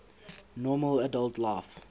normal adult life